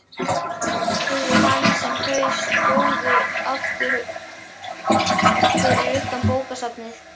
spurði hann þegar þau stóðu aftur fyrir utan bókasafnið.